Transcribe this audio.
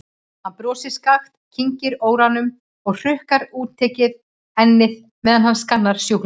Hann brosir skakkt, kyngir óróanum og hrukkar útitekið ennið meðan hann skannar sjúklinginn.